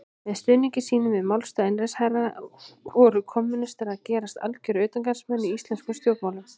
Með stuðningi sínum við málstað einræðisherranna voru kommúnistar að gerast algjörir utangarðsmenn í íslenskum stjórnmálum.